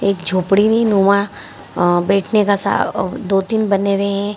एक झोपड़ीनुमा अ अ बैठने का अ दो तीन बने हुए है।